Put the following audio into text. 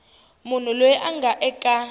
munhu loyi a nga eka